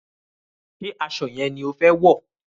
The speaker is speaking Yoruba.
Ṣé aṣọ yẹn ni o fẹ wọ̀?